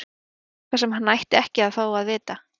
Að það væri eitthvað sem hann ætti ekki að fá að vita.